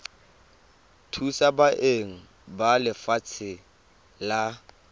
thusa beng ba lefatshe la